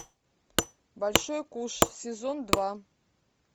большой куш сезон два